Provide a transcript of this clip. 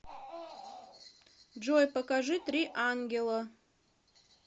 джой покажи три ангела